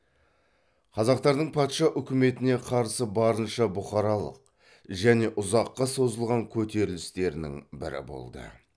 қазақтардың патша үкіметіне қарсы барынша бұқаралық және ұзаққа созылған көтерілістерінің бірі болды